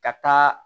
Ka taa